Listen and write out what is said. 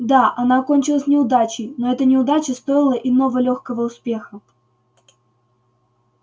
да она окончилась неудачей но эта неудача стоила иного лёгкого успеха